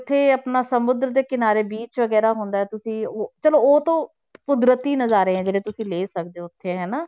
ਉੱਥੇ ਆਪਣਾ ਸਮੁੰਦਰ ਦੇ ਕਿਨਾਰੇ beach ਵਗ਼ੈਰਾ ਹੁੰਦਾ ਤੁਸੀਂ ਉਹ ਚਲੋ ਉਹ ਤਾਂ ਕੁਦਰਤੀ ਨਜ਼ਾਰੇ ਆ ਜਿਹੜੇ ਤੁਸੀਂ ਲੈ ਸਕਦੇ ਹੋ ਉੱਥੇ ਹਨਾ।